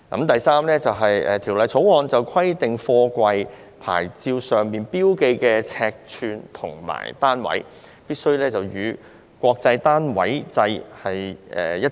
第三，是《條例草案》規定貨櫃的牌照上標記的尺寸與單位，必須與國際單位制一致。